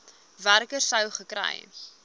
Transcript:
werker sou gekry